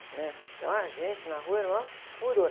Né? Então a gente, na rua, era o maior furor.